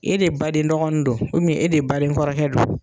E de baden dɔgɔnin don e de baden kɔrɔkɛ don.